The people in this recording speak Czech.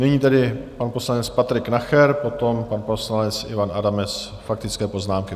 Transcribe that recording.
Nyní tedy pan poslanec Patrik Nacher, potom pan poslanec Ivan Adamec, faktické poznámky.